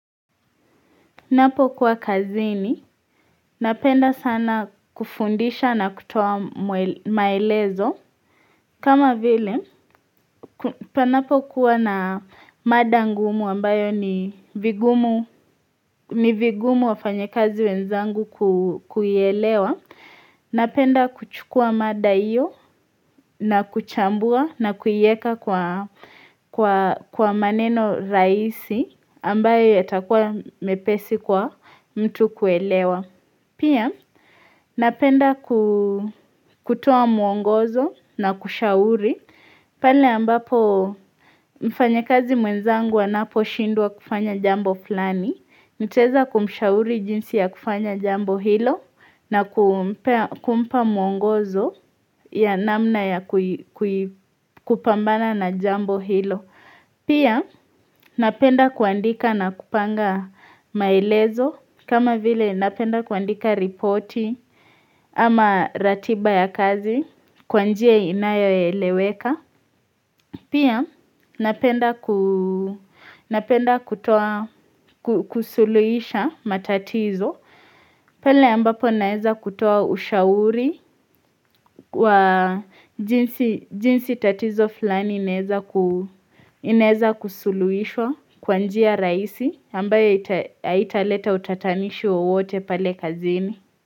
Ninapokuwa kazini, napenda sana kufundisha na kutua maelezo kama vile, panapo kuwa na mada ngumu ambayo ni vigumu ni vigumu wa fanyekazi wenzangu kuelewa Napenda kuchukua mada iyo na kuchambua na kuieka kwa maneno rahisi ambayo ye takuwa mepesi kwa mtu kuelewa Pia napenda kutoa mwongozo na kushauri. Pale ambapo mfanyekazi mwenzangu anaposhindwa kufanya jambo flani. Niteza kumushauri jinsi ya kufanya jambo hilo na kumpa mwongozo ya namna ya kupambana na jambo hilo. Pia napenda kuandika na kupanga maelezo kama vile napenda kuandika ripoti ama ratiba ya kazi kwanjie inayo ya eleweka. Pia napenda kutoa kusuluisha matatizo pale ambapo naeza kutoa ushauri wa jinsi tatizo flani ineza kusuluishwa kwa njia rahisi ambayo haitaleta utatanishi wa wote pale kazini.